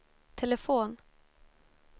telefon